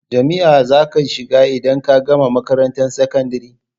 Jami'a za ka shiga idan ka gama makarantar sakandare?